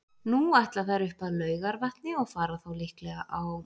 Nú ætla þær upp að Laugarvatni og fara þá líklega á